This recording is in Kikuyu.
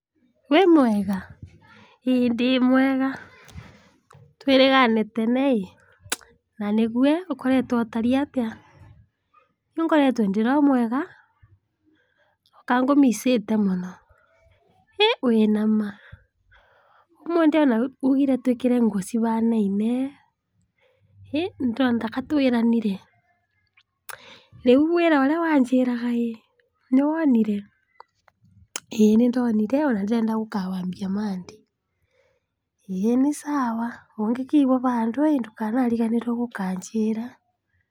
'Wĩ mwega?,ii ndĩmwega, twĩrĩgane tene ĩ,na nĩgu ,ũkoretwe ũtari atĩa, nĩũ ngoretwe ndiromwega kangũmicĩte mũno, ĩĩ wĩna ma?ũmũthi ona ũgire twĩkĩre nguo cihanaine?ĩĩ ndĩrona taka twĩranire, rĩũ wĩra ũrĩa wanjĩraga ĩ nĩwonire?ĩĩ nĩndonire onandĩrenda gũkawambia Monday, ĩĩ nĩ sawa ,ũngĩkigua handũ ĩ ndũkanariganĩrwe gũkanjĩra.''